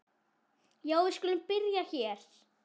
Já, við skulum byrja hér.